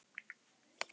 Er heimild?